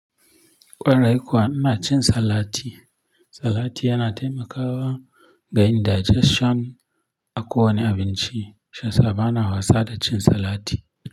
Ƙwarai kuwa ina cin salati. Salati yana taimakawa ga yin digestion a ko wane abinci. Shi ya sa ba na wasa da cin salati.